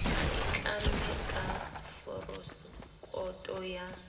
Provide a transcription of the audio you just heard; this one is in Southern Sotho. a itlamme ka forosekoto ya